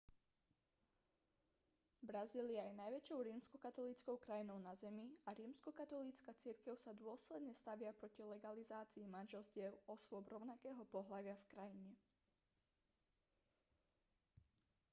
brazília je najväčšou rímskokatolíckou krajinou na zemi a rímskokatolícka cirkev sa dôsledne stavia proti legalizácii manželstiev osôb rovnakého pohlavia v krajine